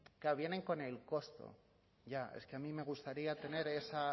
claro vienen con el costo ya es que a mí me gustaría tener esa